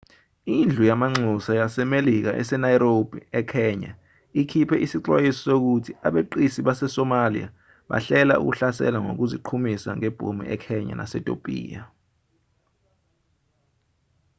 indlu yamanxusa yasemelika ese-nairobi ekenya ikhipe isixwayiso sokuthi abeqisi base-somalia bahlela ukuhlasela ngokuziqhumisa ngebhomu ekenya nasetopiya